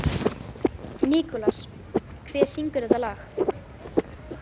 Nikolas, hver syngur þetta lag?